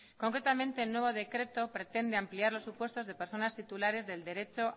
concretamente el nuevo decreto pretende ampliar los supuestos de personas titulares del derecho